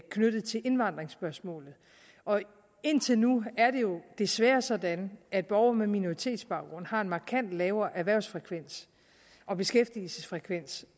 knyttet til indvandringsspørgsmålet indtil nu er det jo desværre sådan at borgere med minoritetsbaggrund har en markant lavere erhvervsfrekvens og beskæftigelsesfrekvens